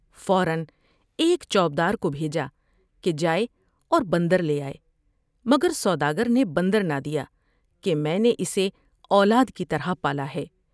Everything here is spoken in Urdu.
فورا ایک چوب دار کو بھیجا کہ جائے اور بندر لے آئے مگر سودا گر نے بندر نہ دیا کہ میں نے اسے اولاد کی طرح پالا ہے ۔